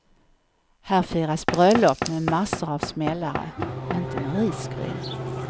Här firas bröllop med massor av smällare, inte med risgryn.